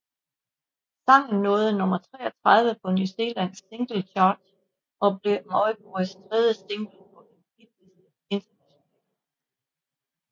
Sangen nåede nummer 33 på New Zealand Singles Chart og blev Mauboys tredje single på en hitliste internationalt